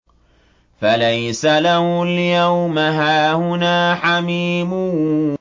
فَلَيْسَ لَهُ الْيَوْمَ هَاهُنَا حَمِيمٌ